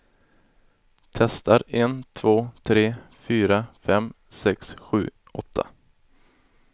Testar en två tre fyra fem sex sju åtta.